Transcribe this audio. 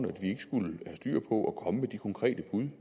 vi ikke skulle have styr på at komme med de konkrete bud